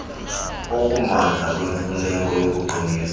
okumandla kwemfuneko yokuqinisa